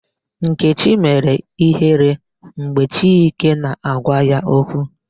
Nkechi mere ihere mgbe Chike na-agwa ya okwu.